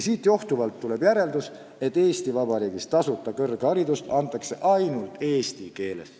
Sellest johtuvalt tuleb teha järeldus, et Eesti Vabariigis antakse tasuta kõrgharidust ainult eesti keeles.